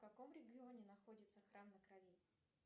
в каком регионе находится храм на крови